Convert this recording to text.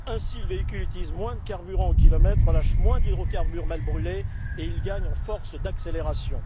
Ainsi, le véhicule utilise moins de carburant au kilomètre, relâche moins d'hydrocarbures mal brûlés et il gagne en force d'accélération.